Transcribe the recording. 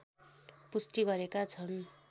पुष्टि गरेका छन्